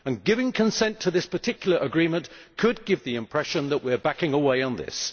Giving consent to this particular agreement could give the impression that we are backing away on this.